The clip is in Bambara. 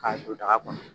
K'a don daga kɔnɔ